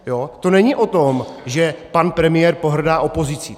To není o tom, že pan premiér pohrdá opozicí.